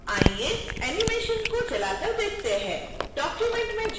आइए एनीमेशन को चलाकर देखते हैं document में जाएँ